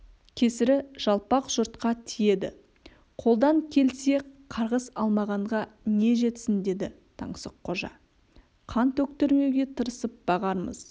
кесірі жалпақ жұртқа тиеді қолдан келсе қарғыс алмағанға не жетсін деді таңсыққожа қан төктірмеуге тырысып бағармыз